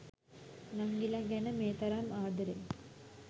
නංගිලා ගැන මේ තරම් ආද‍රෙන්